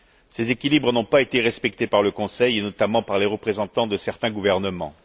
Ces équilibres n'ont pas été respectés par le Conseil et notamment par les représentants de certains gouvernements.